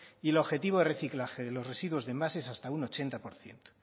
y el objetivo de reciclaje de los residuos de envases hasta un ochenta por ciento